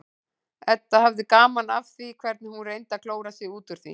Edda hafði gaman af því hvernig hún reyndi að klóra sig út úr því.